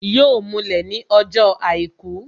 Yọ mulẹ̀ ní ọjọ́ àìkú